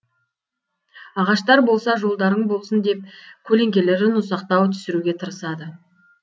ағаштар болса жолдарың болсын деп көлеңкелерін ұзақтау түсіруге тырысады